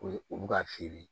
O ye olu ka feere